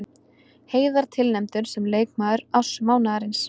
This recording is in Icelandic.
Heiðar tilnefndur sem leikmaður mánaðarins